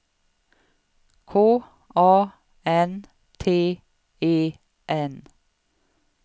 K A N T E N